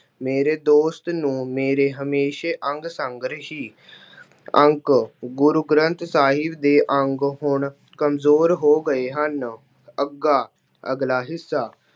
ਮੇਰੇ ਦੋਸਤ ਨੂੰ ਮੇਰੇ ਹਮੇਸ਼ਾ ਅੰਗ ਸੰਗ ਰਹੀ। ਅੰਕ- ਗੁਰੂ ਗ੍ਰੰਥ ਸਾਹਿਬ ਦੇ ਅੰਗ ਹੁਣ ਕਮਜ਼ੋਰ ਹੋ ਗਏ ਹਨ। ਅੱਗਾ- ਅਗਲਾ ਹਿੱਸਾ-